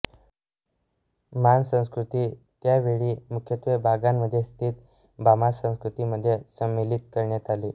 मॉन संस्कृती त्या वेळी मुख्यत्वे बागान मध्ये स्थित बामार संस्कृती मध्ये संम्मिलीत करण्यात आली